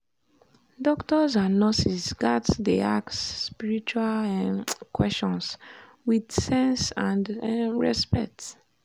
doctors and nurses gats dey ask spiritual um questions with sense and um respect.